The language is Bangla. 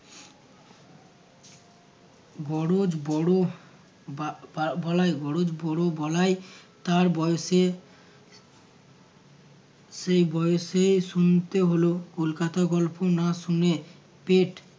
বরজ বড় বা~ বলায় বরজ বড় বলায় তার বয়সে সেই বয়সে শুনতে হলো কলকাতা গল্প না শুনে পেট